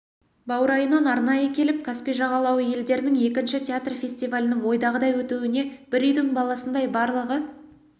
баурайынан арнайы келіп каспий жағалауы елдерінің екінші театр фестивалінің ойдағыдай өтуіне бір үйдің баласындай барлығы